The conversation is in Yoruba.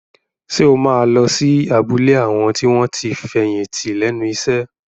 Ṣé o máa lọ sí abúlé àwọn tí wọ́n ti fẹ̀yìntì lẹ́nu iṣẹ́?